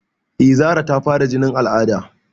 Eh Zara ta fara jinin al'ada